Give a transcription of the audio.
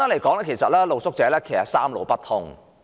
簡言之，露宿者現時是"三路不通"。